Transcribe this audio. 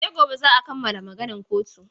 Sai gobe za a kammala maganan kotun.